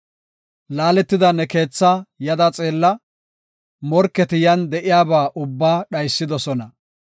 Laaletida ne keethaa yada xeella; morketi yan de7iyaba ubbaa dhaysidosona.